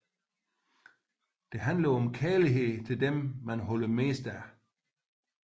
Den handler om kærlighed til dem man holder mest af